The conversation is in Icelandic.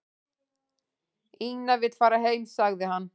"""Ína vill fara heim, sagði hann."""